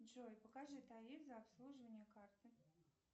джой покажи тариф за обслуживание карты